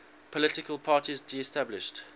political parties disestablished